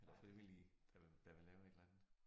Eller frivillige der vil der vil lave et eller andet